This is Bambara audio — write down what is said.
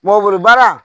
Mɔboli ba la